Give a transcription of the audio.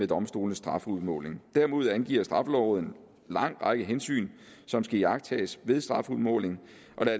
domstolenes strafudmåling derimod angiver straffelovrådet en lang række hensyn som skal iagttages ved strafudmålingen og